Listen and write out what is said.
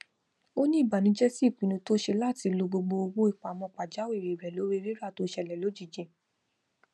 ó ní ìbànújẹ sí ipinnu tí ó ṣe láti lo gbogbo owó ìpamọ pajawìrí rẹ lórí rírà tó ṣẹlẹ lójijì